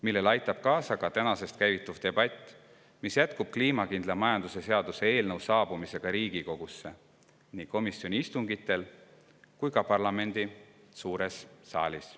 Sellele aitab kaasa ka tänasest käivituv debatt, mis jätkub kliimakindla majanduse seaduse eelnõu saabumisega Riigikogusse, nii komisjoni istungitel kui ka parlamendi suures saalis.